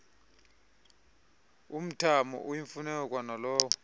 umthamo oyimfuneko kwanalowo